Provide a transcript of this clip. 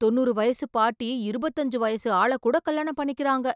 தொன்னூறு வயசு பாட்டி இருவத்தஞ்சு வயசு ஆளை கூட கல்யாணம் பண்ணிக்கிறாங்க!